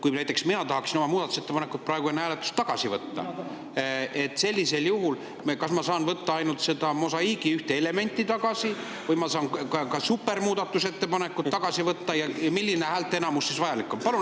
Kui näiteks mina tahaksin oma muudatusettepaneku praegu enne hääletust tagasi võtta, kas sellisel juhul ma saan võtta tagasi ainult selle mosaiigi ühe elemendi või ma saan ka supermuudatusettepaneku tagasi võtta ja milline häälteenamus siis vajalik on?